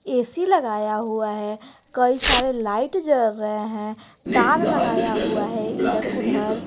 ऐ C लगाया हुआ है कई सारे लाइट जल रहे हैं तार लगाया हुआ है इधर उधर।